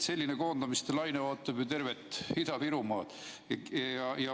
Selline koondamiste laine ootab ju tervet Ida-Virumaad.